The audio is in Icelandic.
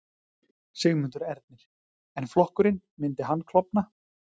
Sigmundur Ernir: En flokkurinn, myndi hann klofna?